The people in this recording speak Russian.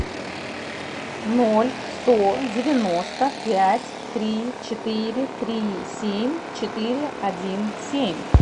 ноль сто девяносто пять три четыре три семь четыре один семь